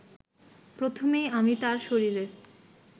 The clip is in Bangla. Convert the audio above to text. প্রথমেই আমি তার শরীরে